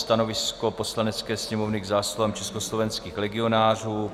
Stanovisko Poslanecké sněmovny k zásluhám československých legionářů